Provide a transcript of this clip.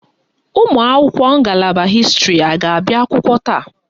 Ụmụakwụkwọ ngalaba hịstịrị a ga-abịa akwụkwọ taa?